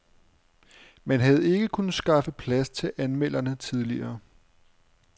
Man havde ikke kunnet skaffe plads til anmelderne tidligere.